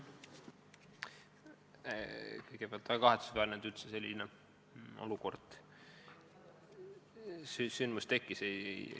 Kõigepealt, on väga kahetsusväärne, et selline asi juhtus.